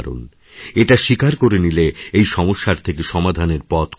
এটা স্বীকার করে নিলে এই সমস্যার থেকে সমাধানের পথখুলে যায়